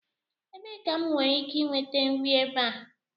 Ebee ka m nwere ike nweta nri ebe a?